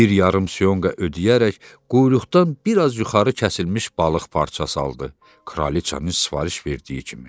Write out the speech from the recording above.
Bir yarım syonqa ödəyərək quyruqdan bir az yuxarı kəsilmiş balıq parçası aldı, kraliçanın sifariş verdiyi kimi.